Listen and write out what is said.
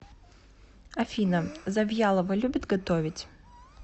афина завьялова любит готовить